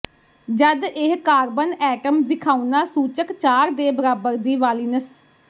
ਜਦ ਇਹ carbon atom ਵਿਖਾਉਣਾ ਸੂਚਕ ਚਾਰ ਦੇ ਬਰਾਬਰ ਦੀ ਵਾਲਿਨਸ